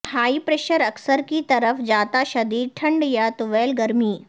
high pressure اکثر کی طرف جاتا شدید ٹھنڈ یا طویل گرمی